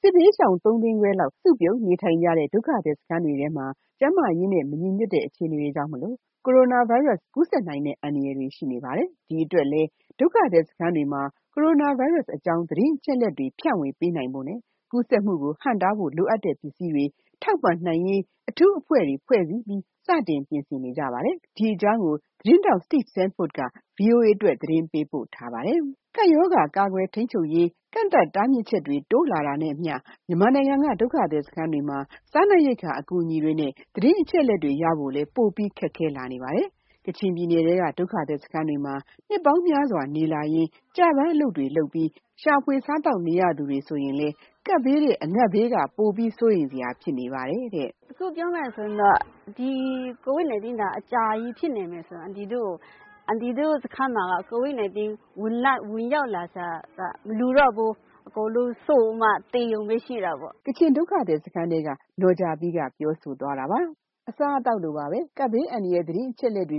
စစ်ဘေးရှောင် ၃ သိန်းခွဲလောက် စုပြုံနေထိုင်နေကြတဲ့ ဒုက္ခသည်စခန်းတွေထဲမှာ ကျန်းမာရေးနဲ့ မညီညွတ်တဲ့ အခြေအနေတွေကြောင့် ကိုရိုနာဗိုင်းရပ်စ် ကူးစက်နိုင်တဲ့ အန္တရာယ်တွေ ရှိနေပါတယ်။ ဒီအတွက်လည်း ဒုက္ခသည်စခန်းတွေမှာ ကိုရိုနာဗိုင်းရပ်စ်အကြောင်း သတင်းအချက်အလက်တွေ ဖြန့်ဝေပေးနိုင်ဖို့နဲ့ ကူးစက်မှုကို ဟန့်တားဖို့ လိုအပ်တဲ့ပစ္စည်းတွေ ထောက်ပံ့နိုင်ရေး အထူးအဖွဲ့တွေ ဖွဲ့စည်းပြီး စတင်ပြင်ဆင်နေတဲ့အကြောင်း ဗွီအိုအေသတင်းထောက် Steve Sandford ရဲ့ သတင်းဆောင်းပါးကို ဒေါ်ခင်စိုးဝင်းက ပြောပြပေးမှာပါ။ ကပ်ရောဂါ ကာကွယ်ထိန်းချုပ်ရေး ကန့်သတ်တားမြစ်ချက်တွေ တိုးလာနေတာနဲ့အမျှ မြန်မာနိုင်ငံက ဒုက္ခသည်စခန်းတွေမှာ စားနပ်ရိက္ခာ အကူအညီတွေနဲ့ သတင်းအချက်အလက်တွေရဖို့လည်း ပိုခက်ခဲလာနေတာပါ။ ကချင်ပြည်နယ်ထဲက ဒုက္ခသည်စခန်းတွေမှာ နှစ်ပေါင်းများစွာ နေလာခဲ့ကြပြီး ကျပန်းအလုပ်တွေလုပ်ပြီး ရှာဖွေ စားသောက်နေရသူတွေ ဆိုရင်လည်း ကပ်ဘေးထက် စားရေးသောက်ရေးက ပိုပြီးတော့ စိုးရိမ်စရာ ဖြစ်နေပါတယ်။ “အခုပြောမယ်ဆိုရင် COVID -19 အကြာကြီးဖြစ်နေရင် အန်တီတို့ စခန်းမှာက COVID -19 ဝင်လာရင် အကုန်လုံးစုပြီးတော့ သေဖို့ပဲ ရှိတာပေါ့။ ” လို့ ကချင်ဒုက္ခသည်စခန်းထဲက နော်ဂျာပီး ပြောသွားတာပါ။ အစားအသောက်လိုပဲ ကပ်ဘေးအန္တရာယ် သတင်းအချက်အလက်တွေ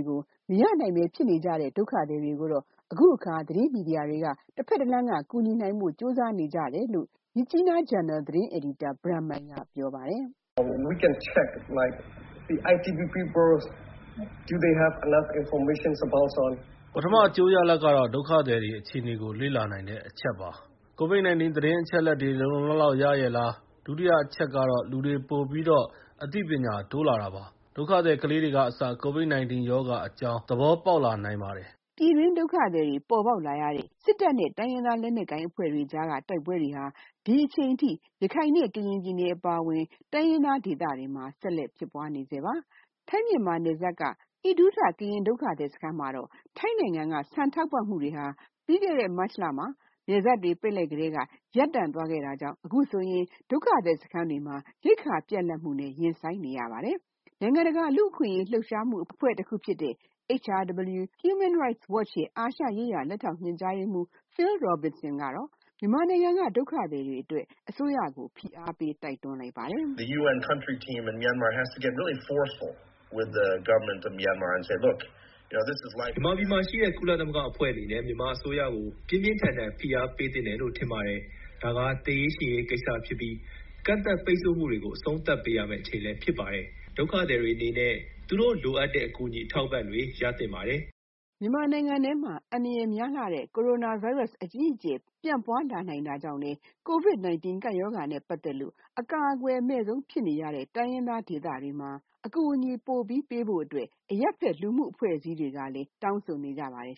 လည်း မရနိုင်ပဲ ဖြစ်နေတဲ့ ဒုက္ခသည်တွေကိုတော့ အခုအခါ သတင်းမီဒီယာတွေက တဖက်တလမ်းက ကူညီနိုင်ဖို့ ကြိုးပမ်းနေကြပါတယ်။ “ပထမအကျိုးရလဒ်ကတော့ ဒုက္ခသည်တွေအခြေအနေကို လေ့လာနိုင်တဲ့ အချက်ပါ။ COVID-19 သတင်းအချက်အလက်တွေ လုံလုံလောက်လောက် ရရဲ့လား၊ ဒုတိယအချက်ကတော့ လူတွေ ပိုပြီးတော့ အသိပညာတိုးလာတာပါ။ ဒုက္ခသည်ကလေးတွေကအစ COVID-19 ရောဂါအကြောင်း သဘောပေါက်လာနိုင်ပါတယ်။” လို့ မြစ်ကြီးနား သတင်းဂျာနယ်က ဘရန်မိုင် ကပြောသွားတာပါ။ ပြည်တွင်းဒုက္ခသည်တွေ ပေါ်လာရတဲ့ စစ်တပ်နဲ့ တိုင်းရင်းသားလက်နက်ကိုင်အဖွဲ့တွေကြားက တိုက်ပွဲတွေဟာ အခုအချိန်အထိ ရခိုင်နဲ့ကရင်ပြည်နယ် အပါအဝင် တိုင်းရင်းသား ဒေသတွေမှာ ဆက်လက်ဖြစ်ပွားနေဆဲပါ။ ထိုင်း-မြန်မာနယ်စပ်က အိတူးထ ကရင်ဒုက္ခသည် စခန်းမှာတော့ ထိုင်းနိုင်ငံက ဆန်ထောက်ပံ့မှုတွေဟာ ပြီးခဲ့တဲ့ မတ်လထဲ နယ်စပ်တွေ ပိတ်လိုက်ကတည်းက ရပ်သွားခဲ့တာကြောင့် အခုဆိုရင် ဒုက္ခသည် စခန်းမှာ ရိက္ခာပြတ်လပ်မှုနဲ့ ရင်ဆိုင်လာနေရပါပြီ။ နိုင်ငံတကာ လူ့အခွင့်အရေး လှုပ်ရှားမှုအဖွဲ့တခုဖြစ်တဲ့ HRW ရဲ့ အာရှရေးရာ လက်ထောက် ညွှန်ကြားရေးမှူး ဖီလ် ရိုဘင်ဆဲန် ကတော့ မြန်မာနိုင်ငံက ဒုက္ခသည်တွေအတွက် အစိုးရကို ဖိအားပေးဖို့ တိုက်တွန်းထားပါတယ်။ “မြန်မာပြည်မှာရှိတဲ့ ကုလသမဂ္ဂအဖွဲ့အနေနဲ့ မြန်မာအစိုးရကို ပြင်းပြင်း ထန်ထန် ဖိအားပေးသင့်တယ်လို့ ထင်ပါတယ်။ ဒါက သေရေးရှင်ရေး ကိစ္စဖြစ်ပြီး ကန့်သတ်ပိတ်ဆို့မှုတွေကို အဆုံးသတ်ပေးရမယ့် အချိန်ဖြစ်ပါတယ်။ ဒုက္ခသည်တွေအနေနဲ့ သူတို့လိုအပ်တဲ့အကူအညီ အထောက်အပံ့တွေ ရသင့်ပါတယ်။” လို့ သူက ပြောတာပါ။ မြန်မာနိုင်ငံထဲမှာ ကြောက်စရာကောင်းတဲ့ ကိုရိုနာဗိုင်းရပ်စ် အကြီးအကျယ် ပြန့်ပွားလာနိုင်တာကြောင့်လည်း ကိုဗစ်-၁၉ ကပ်ရောဂါနဲ့ ပတ်သက်လို့ အကာအကွယ်အမဲ့ဆုံးဖြစ်နေရတဲ့ တိုင်းရင်းသားဒေသတွေမှာ အကူအညီတွေ ပိုပြီးပေးဖို့ အရပ်ဖက်လူမှုအဖွဲ့အစည်းတွေကလည်း တောင်းဆိုနေကြပါတယ်